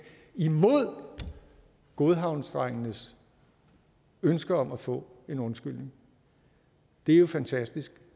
imod godhavnsdrengenes ønsker om at få en undskyldning det er jo fantastisk